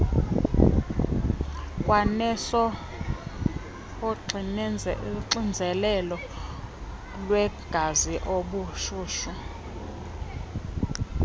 kwanesoxinzelelo lwegazi ubushushu